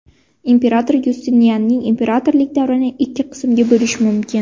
Imperator Yustinianning imperatorlik davrini ikki qismga bo‘lish mumkin.